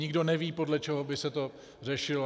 Nikdo neví, podle čeho by se to řešilo.